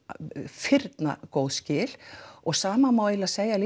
firnagóð skil og sama má eiginlega segja